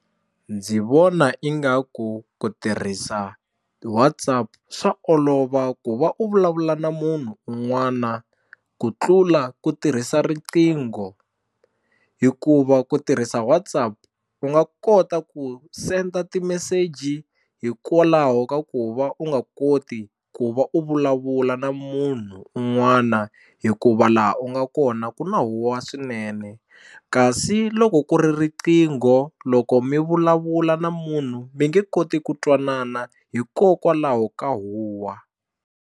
Ndzi vona ingaku ku tirhisa WhatsApp swa olova ku va u vulavula na munhu un'wana ku tlula ku tirhisa riqingho hikuva ku tirhisa WhatsApp u nga kota ku senda timeseji hikwalaho ka ku va u nga koti ku va u vulavula na munhu un'wana hi ku va laha u nga kona ku na huwa swinene kasi loko ku ri riqingho loko mi vulavula na munhu mi nge koti ku twanana hikokwalaho ka huwa.